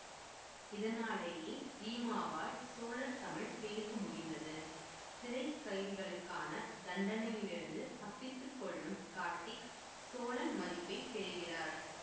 இதனாலேயே ரீமாவால் சோழர் தமிழ் பேச முடிந்தது சிறை கைதிகளுக்கான தண்டனையிலிருந்து தப்பித்து கொள்ளும் கார்த்திக் சோழன் மதிப்பை பெறுகிறார்